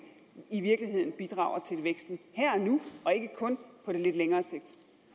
i virkeligheden bidrager til væksten her og nu og ikke kun på det lidt længere sigt